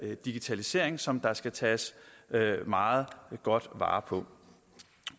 her digitalisering som der skal tages meget godt vare på